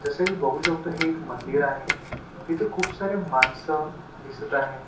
जस की बघू शकतो हे एक मंदिर आहे तिथे खूप सारे माणसं दिसत आहे.